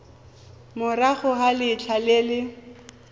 morago ga letlha le le